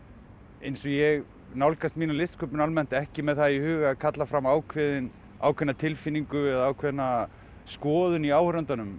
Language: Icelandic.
eins og ég nálgast mína listsköpun almennt ekki með það í huga að kalla fram ákveðna ákveðna tilfinningu eða ákveðna skoðun hjá áhorfandanum